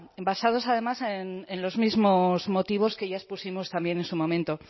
basados además en los mismos motivos que ya expusimos también en su momento